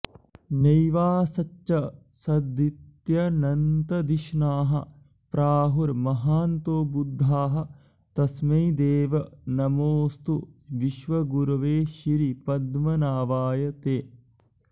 नैवासच्च सदित्यनन्तधिषणाः प्राहुर्महान्तो बुधाः तस्मै देव नमोऽस्तु विश्वगुरवे श्रीपद्मनाभाय ते